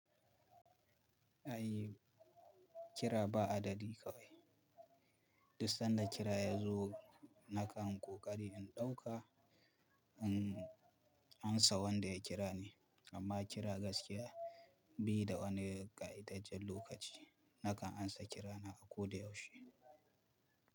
Ai kira ba adadi kawai. Dussan da kira ya zo nakan ƙoƙari in ɗauka in ansa wanda ya kira ni. Amma kira gaskiya be da wani ƙa'itaccen lokaci nakan ansa kirana a ko da yaushe.